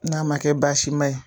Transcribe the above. N'a ma kɛ baasima ye